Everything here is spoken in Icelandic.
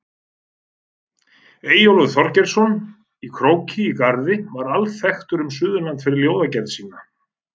Eyjólfur Þorgeirsson í Króki í Garði var alþekktur um Suðurland fyrir ljóðagerð sína.